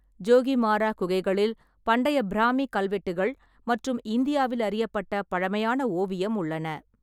ஜோகிமாரா குகைகளில் பண்டைய பிராமி கல்வெட்டுகள் மற்றும் இந்தியாவில் அறியப்பட்ட பழமையான ஓவியம் உள்ளன.